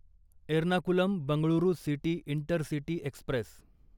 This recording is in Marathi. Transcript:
Ernakulam Bengaluru city intercity Express